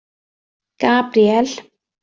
Gabríel